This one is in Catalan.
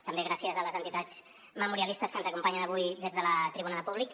també gràcies a les entitats memorialistes que ens acompanyen avui des de la tribuna de públic